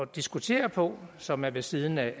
diskutere på som er ved siden af